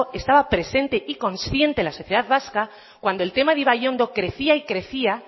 estaba presente y consciente en la sociedad vasca cuando el tema de ibaiondo crecía y crecía